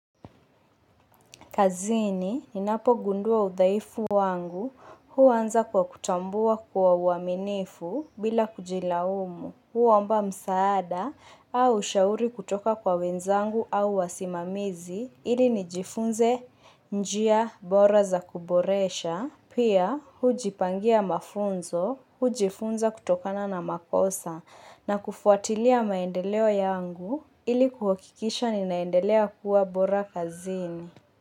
Kazini, ninapogundua udhaifu wangu, huanza kwa kutambua kwa uaminifu bila kujilaumu, huomba msaada au shauri kutoka kwa wenzangu au wasimamizi, ili nijifunze njia bora za kuboresha, pia hujipangia mafunzo, hujifunza kutokana na makosa, na kufuatilia maendeleo yangu, ili kuhakikisha ninaendelea kuwa bora kazini.